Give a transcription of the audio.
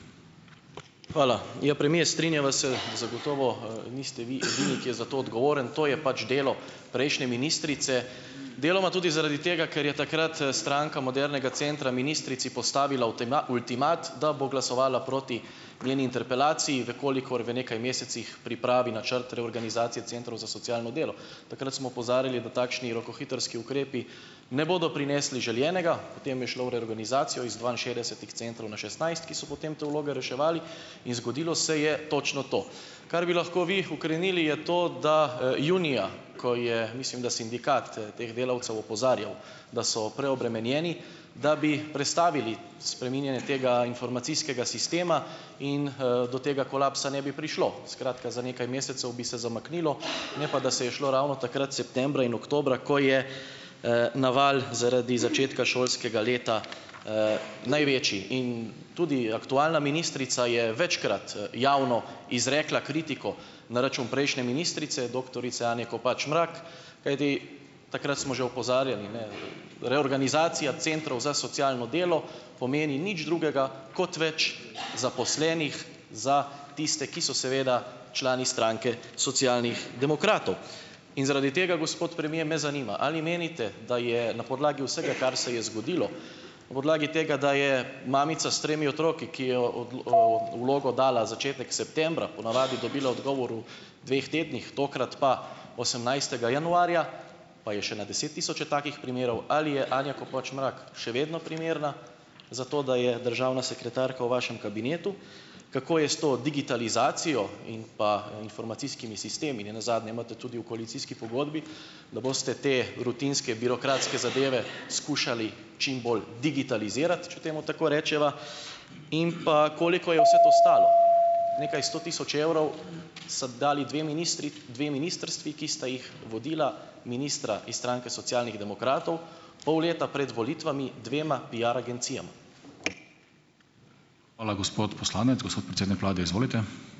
Hvala. Ja premier, strinjava se, zagotovo, niste vi edini, ki je za to odgovoren . To je pač delo prejšnje ministrice, deloma tudi zaradi tega, ker je takrat, Stranka modernega centra ministrici postavila ultimat, da bo glasovala proti njeni interpelaciji, v kolikor v nekaj mesecih pripravi načrt reorganizacije centrov za socialno delo. Takrat smo opozarjali, da takšni rokohitrski ukrepi ne bodo prinesli želenega, potem je šlo v reorganizacijo iz dvainšestdesetih centrov na šestnajst, ki so potem te vloge reševali, in zgodilo se je točno to. Kar bi lahko vi ukrenili, je to, da, junija, ko je, mislim, da sindikat, teh delavcev opozarjal, da so preobremenjeni, da bi prestavili spreminjanje tega informacijskega sistema in, do tega kolapsa ne bi prišlo. Skratka, za nekaj mesecev bi se zamaknilo, ne pa da se je šlo ravno takrat septembra in oktobra, ko je, naval zaradi začetka šolskega leta, največji. In tudi aktualna ministrica je večkrat, javno izrekla kritiko na račun prejšnje ministrice, doktorice Anje Kopač Mrak, kajti, takrat smo že opozarjali, ne, reorganizacija centrov za socialno delo pomeni nič drugega kot več zaposlenih za tiste, ki so seveda člani stranke Socialnih demokratov. In zaradi tega, gospod premier, me zanima, ali menite, da je na podlagi vsega, kar se je zgodilo, na podlagi tega, da je mamica s tremi otroki, ki je vlogo dala začetek septembra, po navadi dobila odgovor v dveh tednih, tokrat pa osemnajstega januarja, pa je še na desettisoče takih primerov, ali je Anja Kopač Mrak še vedno primerna za to, da je državna sekretarka v vašem kabinetu? Kako je s to digitalizacijo in pa informacijskimi sistemi? Ne nazadnje imate tudi v koalicijski pogodbi, da boste te rutinske birokratske zadeve skušali čim bolj digitalizirati, če temu tako rečeva, in pa koliko je vse to stalo? Nekaj sto tisoč evrov sedaj dali dve dve ministrstvi, ki sta jih vodila ministra iz stranke Socialnih demokratov, pol leta pred volitvami dvema pai agencijama.